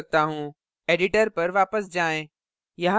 editor पर वापस जाएँ